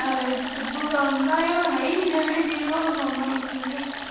ਹਾਲੇ ਸਿੱਧੂ ਦਾ ਹੈ ਹੀ ਨਹੀਂ ਗਾ ਜਿਹੜੀ ਚੀਜ਼ ਫਿਰ ਸੁਣਨਾ ਵੀ ਕਿਥੋਂ ਸੀ ਗਾ।